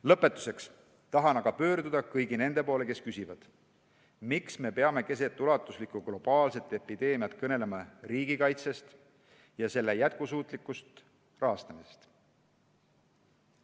Lõpetuseks tahan pöörduda kõigi nende poole, kes küsivad: miks me peame keset ulatuslikku globaalset epideemiat kõnelema riigikaitsest ja selle jätkusuutlikust rahastamisest?